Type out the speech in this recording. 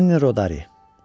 Gianni Rodari.